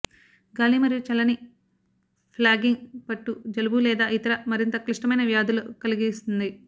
గాలి మరియు చల్లని న ఫ్లాగింగ్ పట్టు జలుబు లేదా ఇతర మరింత క్లిష్టమైన వ్యాధులు కలిగిస్తుంది